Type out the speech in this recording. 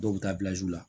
Dɔw bɛ taa la